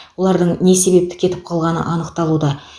олардың не себепті кетіп қалғаны анықталуда